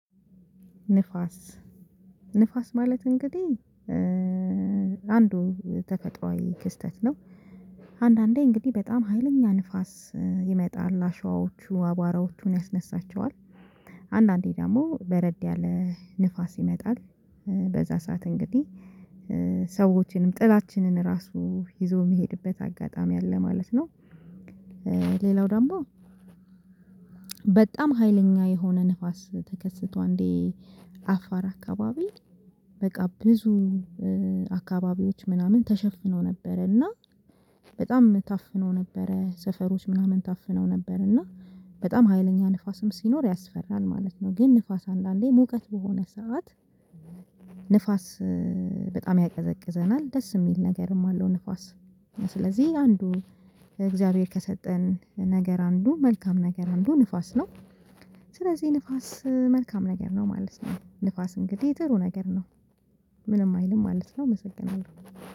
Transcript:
ንፋስ ማለት እንግዲህ አንዱ ተከታዋይ ክስተት ነው። አንዳንዴ እንግዲህ በጣም ሀይለኛ ንፋስ ይመጣል አሸዋዎቹ አቧራዎቹን ያስነሳቸዋል። አንዳንዴ ደግሞ በረድ ያለ ንፋስ ይመጣል። በዛ ሰዓት እንግዲህ ሰዎችንም ጥላችንን ራሱ ይዞ የሚሄድበት አጋጣሚ አለ ማለት ነው። ሌላው ደግሞ። በጣም ሀይለኛ የሆነ ንፋስ ተከስቶ አንዴ አፋር አካባቢ በቃ ብዙ አካባቢዎች ምናምን ተሸፍነው ነበረ። እና በጣም ታፍኖ ነበረ ሰፈሮች ምናምን ታፍነው ነበረ። እና በጣም ሀይለኛ ንፋስም ሲኖር ያስፈራል ማለት ነው። ግን ንፋስ አንዳንዴ ሙቀት በሆነ ሰዓት ንፋስ ያቀዘቅዘናል ደስ የሚል ነገርም አለው። ንፋስ ስለዚህ አንዱ እግዚአብሔር ከሰጠን ነገር አንዱ መልካም ነገር አንዱ ንፋስ ነው። ስለዚህ ንፋስ መልካም ነገር ነው ማለት ነው። ንፋስ እንግዲህ ጥሩ ነገር ነው። ምንም አይልም ማለት ነው እመሰግናለሁ